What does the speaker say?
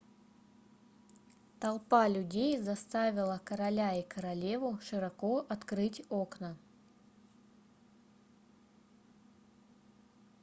толпа людей заставила короля и королеву широко открыть окна